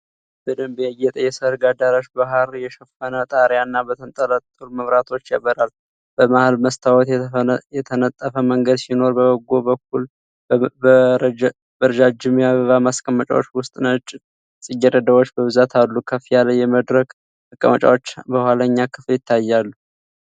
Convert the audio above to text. በደንብ ያጌጠ የሠርግ አዳራሽ በሐር የሸፈነ ጣሪያና በተንጠለጠሉ መብራቶች ያበራል። በመሀል መስታወት የተነጠፈ መንገድ ሲኖር፤ በጎን በኩል በረጃጅም የአበባ ማስቀመጫዎች ውስጥ ነጭ ጽጌረዳዎች በብዛት አሉ። ከፍ ያለ የመድረክ መቀመጫዎች በኋለኛ ክፍል ይታያሉ።